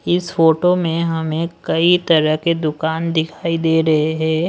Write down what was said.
इस फोटो में हमें कई तरह के दुकान दिखाई दे रहे हैं।